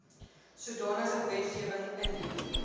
sodanige wetgewing ingedien